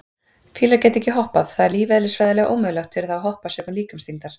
Fílar geta ekki hoppað, það er lífeðlisfræðilega ómögulegt fyrir þá að hoppa sökum líkamsþyngdar.